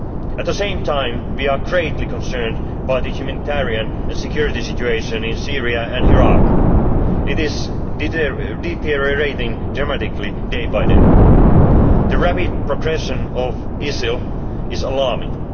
of law. At the same time, we are greatly concerned by the humanitarian and security situation in Syria and Iraq. It is deteriorating dramatically day by day. The rapid progression of ISIL is